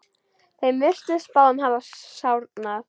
Þeim virtist báðum hafa sárnað.